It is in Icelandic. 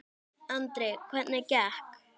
Andri: Hvernig gekk?